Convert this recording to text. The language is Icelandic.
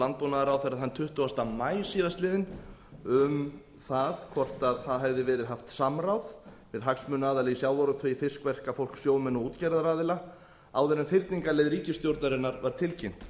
landbúnaðarráðherra þann tuttugasta maí síðastliðinn um það hvort það hefði verið haft samráð við hagsmunaaðila í sjávarútvegi fiskverkafólk sjómenn og útgerðaraðila áður en fyrningarleið ríkisstjórnarinnar var tilkynnt